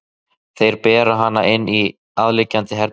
Þeir bera hana inn í aðliggjandi herbergi.